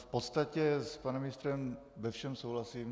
V podstatě s panem ministrem ve všem souhlasím.